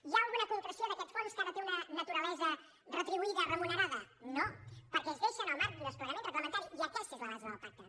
hi ha alguna concreció d’aquest fons que ara té una naturalesa retribuïda remunerada no perquè es deixa en el marc d’un desplegament reglamentari i aquesta és la base del pacte